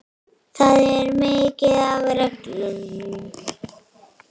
Það er mikið af reglum.